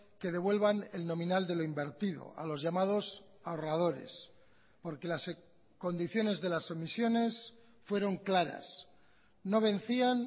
que devuelvan el nominal de lo invertido a los llamados ahorradores porque las condiciones de las emisiones fueron claras no vencían